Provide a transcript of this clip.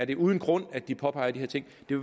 det uden grund at de påpeger de her ting det